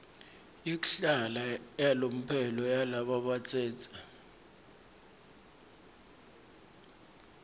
yekuhlala yalomphelo yalabatsetse